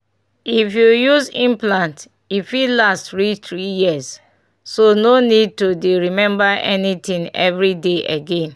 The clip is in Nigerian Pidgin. if you use implant e fit last reach three years — so no need to dey remember anything every day again.